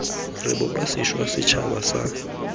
re bopa sešwa setšhaba sa